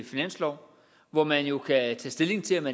finanslove hvor man jo kan tage stilling til om